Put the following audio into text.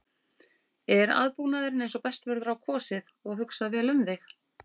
Er aðbúnaðurinn eins og best verður á kosið og hugsað vel um þig?